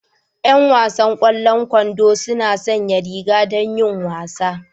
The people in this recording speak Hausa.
Yan wasan kwando suna sanya riga don yin wasa